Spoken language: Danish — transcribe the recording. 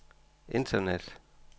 internet